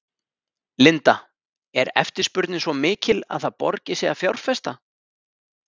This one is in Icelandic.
Linda: Er eftirspurnin svo mikil að það borgi sig að fjárfesta?